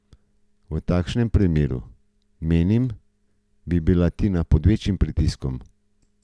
V takšnem primeru, menim, bi bila Tina pod večjim pritiskom.